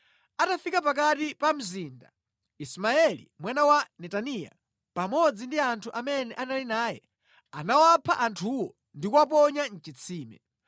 Atafika pakati pa mzinda, Ismaeli mwana wa Netaniya pamodzi ndi anthu amene anali naye anawapha anthuwo ndi kuwaponya mʼchitsime.